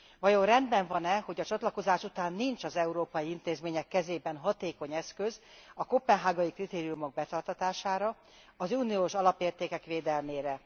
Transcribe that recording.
Vajon rendben van e, hogy a csatlakozás után nincs az európai intézmények kezében hatékony eszköz a koppenhágai kritériumok betartatására, az uniós alapértékek védelmére.